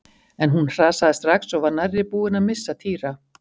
En hún hrasaði strax og var nærri búin að missa Týra.